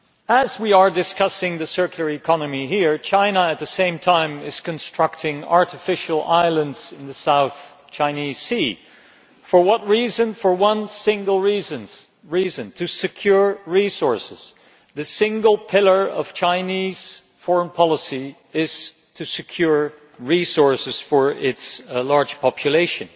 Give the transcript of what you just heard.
As we are discussing the circular economy here, China is at the same time constructing artificial islands in the South China Sea. For what reason? For one single reason to secure resources. The single pillar of Chinese foreign policy is to secure resources for its large population.